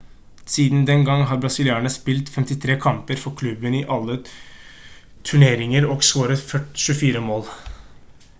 siden den gang har brasilianeren spilt 53 kamper for klubben i alle turneringer og scoret 24 mål